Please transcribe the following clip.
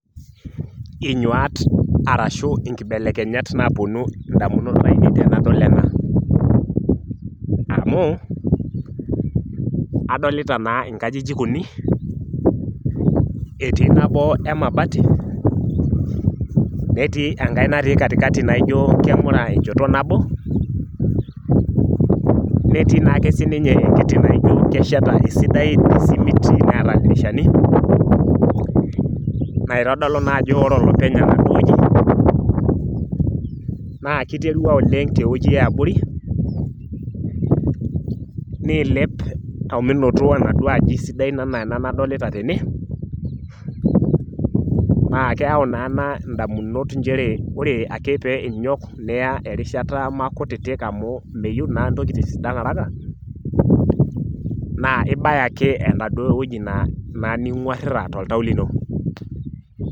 Inyuat arashu inkibelekenyat napuonu ndamunot ainei tenadol ena amu adolita naa nkajijik uni , etii nabo emabati , netii enkae natii katikati naijo kemura enchoto nabo neeta esimiti , neeta ildirishani naitodolu naa ajo ore olopeny enewueji naa kiterua tewueji eabori nilep omenoto enaduo aji naa keyau naa ena ndamunot nchere ore ake peinyok terishata maakutiti amu meyieu naa ntokitin sidan araka naa ibaya naake enaduo wueji ningwarita toltau lino.